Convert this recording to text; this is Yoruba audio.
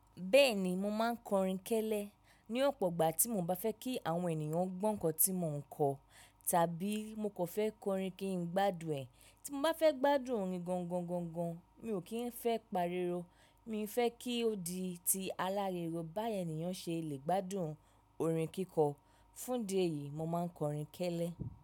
Bẹ́ẹ̀ni mo máa ń kọ orin kẹ́lẹ́ ní ọ̀pọ̀ ìgbà tí mo bá fẹ́ kí àwọn ènìyàn gbọ́ nǹkan tí mo ń kọ tàbí mo kò fẹ́ kọ orin kí n gbádùn ẹ̀. Tí mo bá fẹ́ gbádùn orin gangan, mi ò kì í fẹ́ pariro, mi fẹ́ kí ó di ti aláriwo bá ènìyàn ṣe lè gbádùn orin kíkọ. Fún díẹ̀ yìí, mo máa ń kọ orin kẹ́lẹ́.